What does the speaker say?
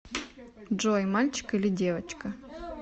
джой мальчик или девочка